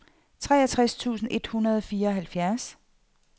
treogtres tusind et hundrede og fireoghalvfjerds